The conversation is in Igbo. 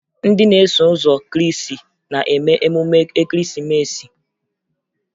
Ndị na-eso ụzọ Krịịstị na-eme emume Ekeresimeesi